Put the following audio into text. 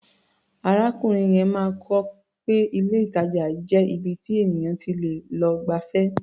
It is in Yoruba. Arákùnrin yẹn máa kọ́ pé ilé-ìtàjà jẹ́ ibi tí ènìyàn ti lè lọ gbafẹ́.